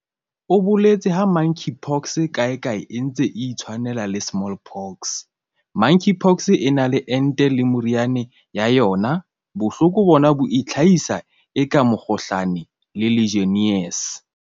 O boletse ha Monkeypox kae kae e ntse e itshwanela le Smallpox."Monkeypox e na le ente le meriana ya yona. Bohloko bona bo itlhahisa eka mokgohlane le Legionnaires."